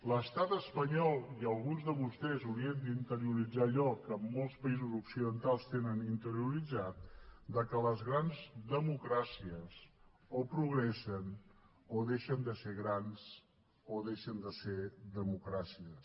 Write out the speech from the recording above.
l’estat espanyol i alguns de vostès haurien d’interioritzar allò que molts països occidentals tenen interioritzat que les grans democràcies o progressen o deixen de ser grans o deixen de ser democràcies